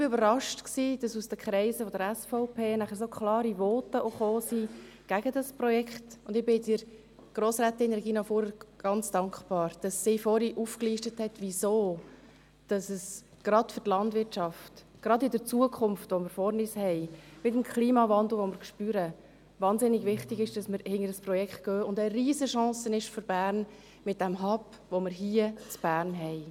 Ich war überrascht, dass nachher aus den Kreisen der SVP so klare Voten gegen dieses Projekt kamen, und ich bin Grossrätin Regina Fuhrer ganz dankbar, dass sie vorhin aufgelistet hat, weswegen es gerade für die Landwirtschaft, gerade in der Zukunft, die wir vor uns haben, mit dem Klimawandel, den wir spüren, wahnsinnig wichtig ist, dass wir dieses Projekt anpacken und es mit dem Hub, den wir hier in Bern haben, eine Riesenchance für Bern ist.